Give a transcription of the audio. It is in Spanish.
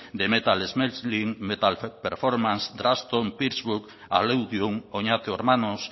de metal smelting metal performances drugstone oñate